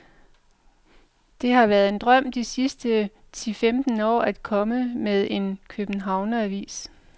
Det har været en drøm de sidste ti femten år at komme med en københavneravis.